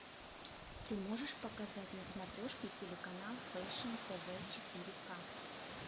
ты можешь показать на смотрешке телеканал фэшн тв четыре к